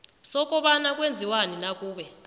sokobana kwenziwani nakube